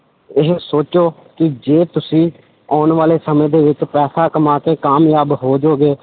ਇਹ ਸੋਚੋ ਕਿ ਜੇ ਤੁਸੀਂ ਆਉਣ ਵਾਲੇ ਸਮੇਂ ਦੇ ਵਿੱਚ ਪੈਸਾ ਕਮਾ ਕੇ ਕਾਮਯਾਬ ਹੋ ਜਾਓਗੇ,